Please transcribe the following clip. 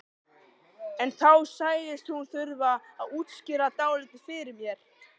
En þá sagðist hún þurfa að útskýra dálítið fyrir mér.